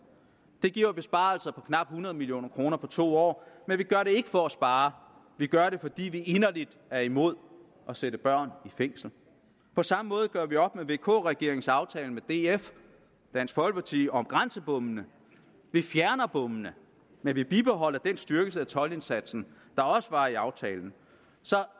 det giver besparelser på knap hundrede million kroner på to år men vi gør det ikke for at spare vi gør det fordi vi inderligt er imod at sætte børn i fængsel på samme måde gør vi op med vk regeringens aftale med dansk folkeparti om grænsebommene vi fjerner bommene men vi bibeholder den styrkelse af toldindsatsen der også var i aftalen så